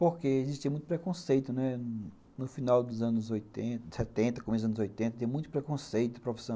Porque existia muito preconceito, né, no final dos anos setenta, começo dos anos oitenta, tinha muito preconceito de profissão.